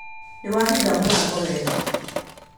Nĩwahinga mũrango wega